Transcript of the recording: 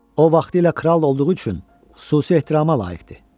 O vaxtilə kral olduğu üçün xüsusi ehtirama layiqdir.